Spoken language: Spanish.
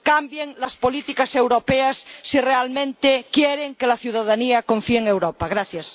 Cambien las políticas europeas si realmente quieren que la ciudadanía confíe en Europa.